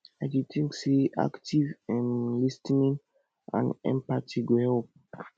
i dey think say active um lis ten ing and empathy go help